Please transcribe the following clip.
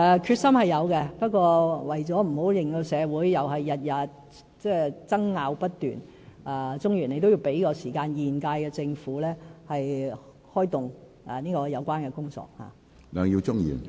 決心是有的，不過，為了不要令到社會每天爭拗不斷，鍾議員要給予時間，讓現屆政府開動有關的工作。